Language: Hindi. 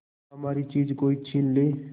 हमारी चीज कोई छीन ले